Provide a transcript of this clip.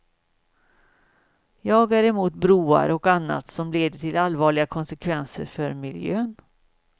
Jag är emot broar, och annat, som leder till allvarliga konsekvenser för miljön.